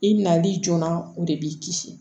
I nali joona o de b'i kisi